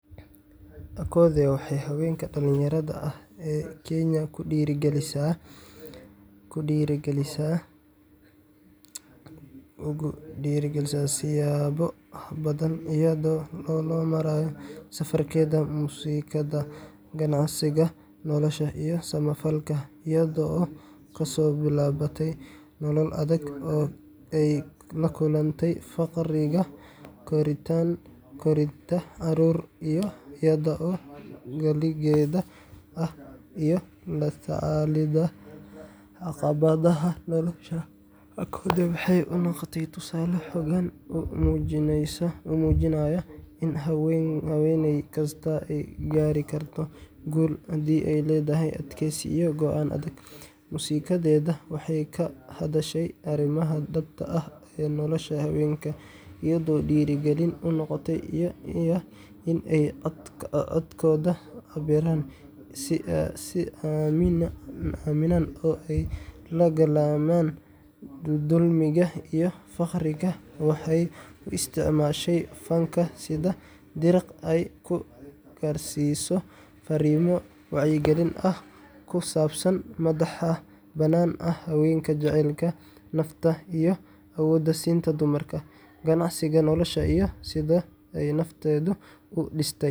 Akothee waxay haweenka dhalinyarada ah ee Kenya ugu dhiirrigelisay siyaabo badan iyada oo loo marayo safarkeeda muusikada, qanacsiga nolosha, iyo samafalka. Iyada oo ka soo bilaabatay nolol adag oo ay la kulantay faqriga, korinta caruur iyada oo kaligeed ah, iyo la tacaalidda caqabadaha nolosha, Akothee waxay u noqotay tusaale xooggan oo muujinaya in haweeney kastaa ay gaari karto guul haddii ay leedahay adkeysi iyo go’aan adag. Muusikadeeda waxay ka hadashaa arrimaha dhabta ah ee nolosha haweenka, iyadoo dhiirrigelin u noqotay in ay codkooda cabbiraan, is aaminaan, oo ay la dagaallamaan dulmiga iyo faqriga. Waxay u isticmaashay fanka sidii dariiq ay ku gaarsiiso farriimo wacyigelin ah, oo ku saabsan madax-bannaanida haweenka, jaceylka nafta, iyo awood-siinta dumarka. Qanacsiga nolosha iyo sida ay nafteeda u dhistay.